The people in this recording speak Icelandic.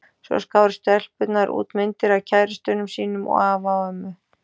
Svo skáru stelpurnar út myndir af kærustunum sínum og afi af ömmu.